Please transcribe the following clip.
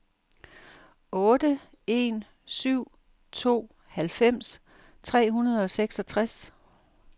otte en syv to halvfems tre hundrede og seksogtres